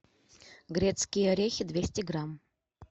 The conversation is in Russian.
грецкие орехи двести грамм